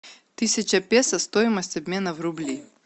тысяча песо стоимость обмена в рубли